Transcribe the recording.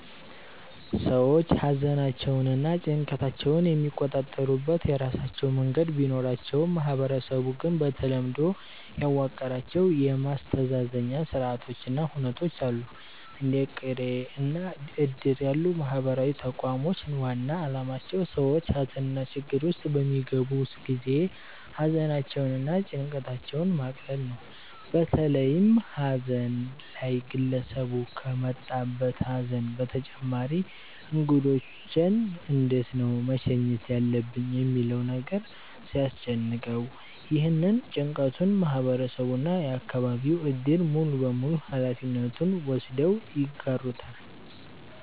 ሰዎች ሃዘናቸውንና ጭንቀታቸውን የሚቆጣጠሩበት የራሳቸው መንገድ ቢኖራቸውም ማህበረሰቡ ግን በተለምዶ ያዋቀራቸው የማስተዛዘኛ ስርአቶች እና ሁነቶች አሉ። እንደ ቅሬ እና እድር ያሉ ማህበራዊ ተቋሞች ዋና አላማቸው ሰዎች ሃዘንና ችግር ውስጥ በሚገቡ ጊዜ ሃዘናቸውን እና ጭንቀታቸውን ማቅለል ነው። በተለይም ሃዘን ላይ ግለሰቡ ከመጣበት ሃዘን በተጨማሪ እንግዶቼን እንዴት ነው መሸኘት ያለብኝ ሚለው ነገር ሲያስጨንቀው፤ ይህንን ጭንቀቱን ማህበረሰቡ እና የአከባቢው እድር ሙሉበሙሉ ሃላፊነት ወስደው ይጋሩታል።